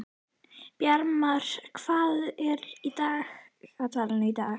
Bjarmar, hvað er á dagatalinu í dag?